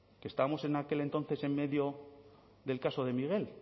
que estábamos en aquel entonces en medio del caso de miguel